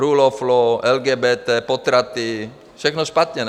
Rule of Law, LGBT, potraty, všechno špatně, ne?